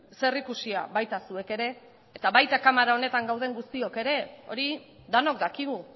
zerikusia baita zuek ere eta baita kamara honetan gauden guztiok ere hori denok dakigu